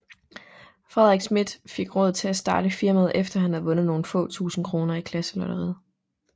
Frederik Smidth fik råd til at starte firmaet efter han havde vundet nogle få tusinde kroner i klasselotteriet